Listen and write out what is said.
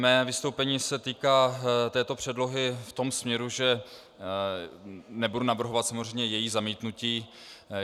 Mé vystoupení se týká této předlohy v tom směru, že nebudu navrhovat samozřejmě její zamítnutí.